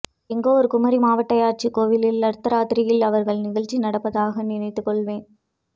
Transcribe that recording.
எங்கோ ஒரு குமரிமாவட்ட யட்சிகோயிலில் அர்த்தராத்திரியில் அவர்களின் நிகழ்ச்சி நடப்பதாக நினைத்துக்கொள்வேன்